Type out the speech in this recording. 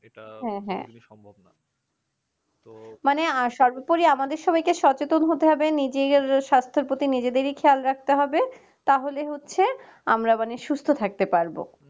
মানে সর্বোপরি আমাদেরই সবাইকে সচেতন হতে হবে নিজের সাস্থের প্রতি নিজেদের খেয়াল রাখতে হবে তাহলে হচ্ছে আমরা মানে সুস্থ থাকতে পারবো